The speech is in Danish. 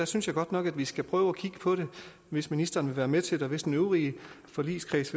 synes jeg godt nok at vi skal prøve at kigge på det hvis ministeren vil være med til det og hvis den øvrige forligskreds